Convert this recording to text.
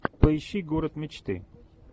поищи город мечты